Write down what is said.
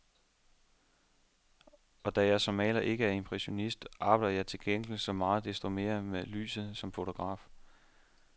Og da jeg som maler ikke er impressionist, arbejder jeg til gengæld så meget desto mere med lyset som fotograf.